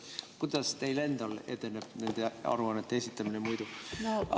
Kuidas teil endal muidu edeneb nende aruannete esitamine?